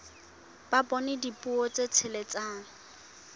ka bonyane dipuo tse tsheletseng